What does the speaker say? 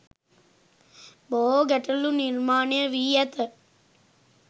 බොහෝ ගැටලු නිර්මාණය වී ඇත.